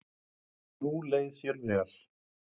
Nú leið þér vel.